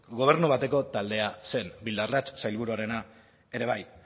gobernu bateko taldea zen bildarratz sailburuarena ere bai